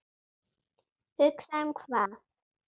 Hugsa um hvað?